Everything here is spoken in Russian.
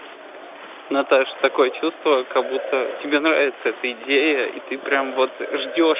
наташа такое чувство как будто тебе нравится эта идея и ты прям вот ждёшь